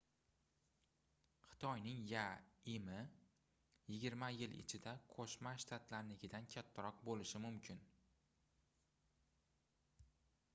xitoyning yaimi yigirma yil ichida qoʻshma shtatlarinikidan kattaroq boʻlishi mumkin